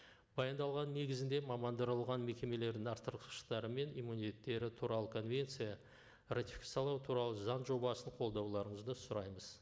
баяндалғанның негізінде мамандырылған мекемелердің туралы конвенция ратификациялау туралы заң жобасын қолдауларыңызды сұраймыз